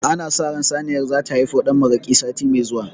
Ana sa ran saniyar zata haifo ɗan maraƙi sati me zuwa